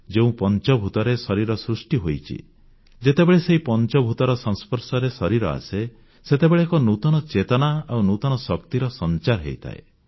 ଯେଉଁ ପଞ୍ଚଭୂତରେ ଶରୀର ସୃଷ୍ଟି ହୋଇଛି ଯେତେବେଳେ ସେହି ପଞ୍ଚଭୂତର ସଂସ୍ପର୍ଶରେ ଶରୀର ଆସେ ସେତେବେଳେ ଏକ ନୂତନ ଚେତନା ଆଉ ନୂତନ ଶକ୍ତିର ସଂଚାର ହୋଇଥାଏ